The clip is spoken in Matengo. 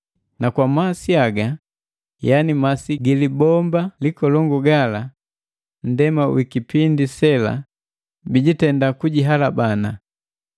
na kwa masi haga yani masi gili bombu likolongu gala, nndema wikipindi sela bijitenda kujihalabana.